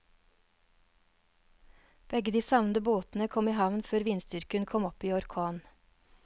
Begge de savnede båtene kom i havn før vindstyrken kom opp i orkan.